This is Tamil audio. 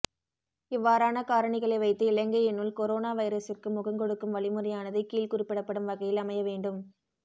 இவ்வாறான காரணிகளை வைத்து இலங்கையினுள் கொரோனா வைரஸிற்கு முகங்கொடுக்கும் வழிமுறையானது கீழ் குறிப்பிடப்படும் வகையில் அமைய வேண்டும்